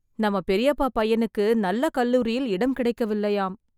நம்ம பெரியப்பா பையனுக்கு நல்ல கல்லூரியில் இடம் கிடைக்கவில்லையாம்